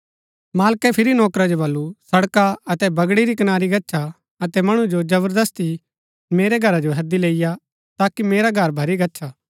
मालकै फिरी नौकरा जो बल्लू सड़का अतै बगड़ी री कनारी गच्छा अतै मणु जो जबरदस्ती ही मेरै घरा जो हैदी लैईआ ताकि मेरा घर भरी गच्छा